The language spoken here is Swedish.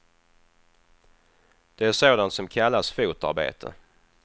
Det är sådant som kallas fotarbete.